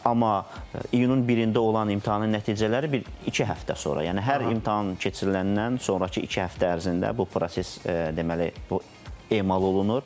Amma iyunun 1-də olan imtahanın nəticələri bir iki həftə sonra, yəni hər imtahan keçiriləndən sonrakı iki həftə ərzində bu proses deməli bu emal olunur.